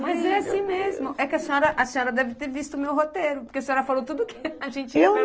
Mas é assim mesmo, é que a senhora, senhora deve ter visto o meu roteiro, porque a senhora falou tudo o que a gente ia perguntar.